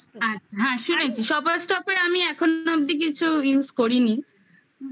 আচ্ছা হ্যাঁ শুনেছি shoppers shop আমি এখন অবধি কিছু use করিনি হুম